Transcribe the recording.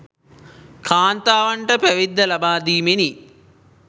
කාන්තාවන්ට පැවිද්ද ලබා දීමෙනි.